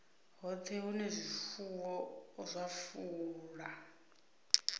hoṱhe hune zwifuwo zwa fula